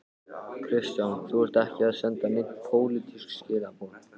Kristján: Þú ert ekki að senda nein pólitísk skilaboð?